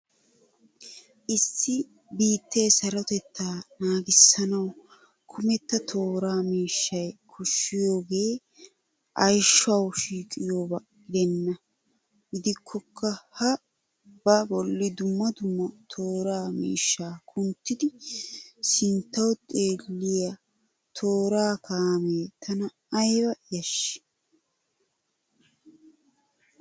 Issi biittee sarotettaa naagisanawu kumetta toora mishshay koshshiyoogee ayshawu shiiqiyabaa gidenna. Gidikokka ha ba bolli dumma dumma tooraa mishshaa kunttidi sinttawu xeelliya tooraa kaamee tana aybba yashshii!